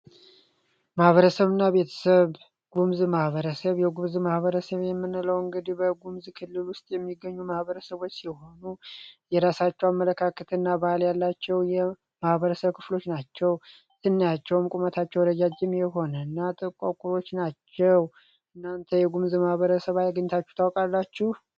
ማኀበረሰብና ቤተሰብ የጉሙዝ ማህበረሰብ የጉሙዝ ማህበረሰብ በሙዚቃ ክልል ውስጥ የሚገኙ ማህበረሰቦች ሲሆኑ የራሳቸው አመለካከት እና ባህል ያላቸው ማህበረሰብ ክፍሎች ናቸው ሰናያቸውም ቁመታቸው ረጃጅም የሆነና ጥቋቁሮች ናቸው። እናንተ የጉምዝ ማህበረሰብ ሰዉ አይታችሁ ታውቃላችሁ?